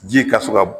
Ji ka se ka